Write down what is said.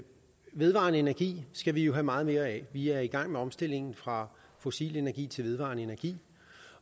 vedvarende energi skal vi have meget mere af vi er i gang med omstillingen fra fossil energi til vedvarende energi